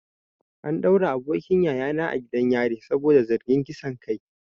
An daure abokin yayana gidan yari saboda zargin kisan kai.